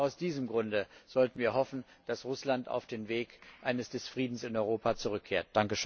Auch aus diesem Grunde sollten wir hoffen, dass Russland auf den Weg des Friedens in Europa zurückkehrt.